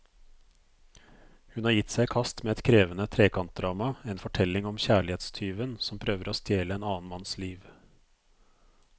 Hun har gitt seg i kast med et krevende trekantdrama, en fortelling om kjærlighetstyven som prøver å stjele en annen manns liv.